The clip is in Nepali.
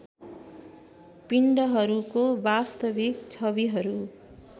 पिण्डहरूको वास्तविक छविहरू